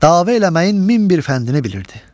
Dava eləməyin min bir fəndini bilirdi.